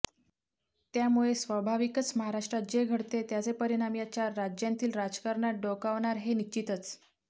त्यामुळे स्वाभाविकच महाराष्ट्रात जे घडते त्याचे परिणाम या चार राज्यांतील राजकारणात डोकावणार हे निश्चितच